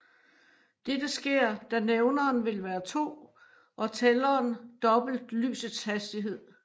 Dette sker da nævneren vil være 2 og tælleren dobbelt lysets hastighed